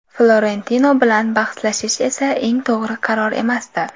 Florentino bilan bahslashish esa eng to‘g‘ri qaror emasdi.